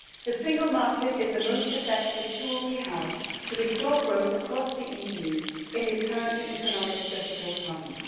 The single market is the most effective tool we have for restoring growth across the EU in these current economically difficult times.